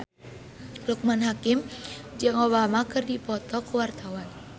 Loekman Hakim jeung Obama keur dipoto ku wartawan